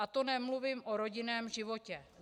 A to nemluvím o rodinném životě.